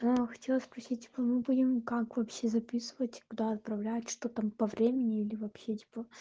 хотел спросить типо мы будем как вообще записывать куда отправлять что там по времени или вообще типо